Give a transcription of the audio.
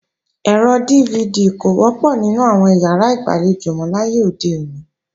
Ẹ̀rọ DVD kò wọ́pọ̀ nínú àwọn ìyàrá ìgbàlejò mọ láyé òde òní